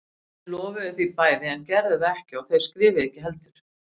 Þau lofuðu því bæði en gerðu það ekki og þau skrifuðu ekki heldur.